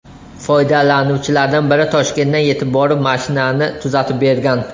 Foydalanuvchilardan biri Toshkentdan yetib borib, mashinani tuzatib bergan.